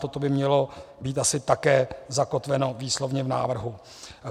Toto by mělo být asi také zakotveno výslovně v návrhu.